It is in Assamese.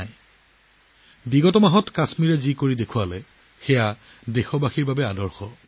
যোৱা মাহত জম্মু কাশ্মীৰে যি দেখুৱাইছে সেয়াও সমগ্ৰ দেশৰ লোকসকলৰ বাবে এক উদাহৰণ